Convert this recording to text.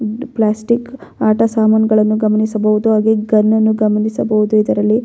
plastic ಆಟಸಾಮಾನ್ಗಳನ್ನು ಗಮನಿಸಬಹುದು ಹಾಗೆ ಗನ್ ಅನ್ನು ಗಮನಿಸಬಹುದು ಇದರಲ್ಲಿ --